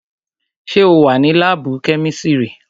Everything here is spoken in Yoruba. Sẹ́ o wà ní láàbù kẹ́misiri?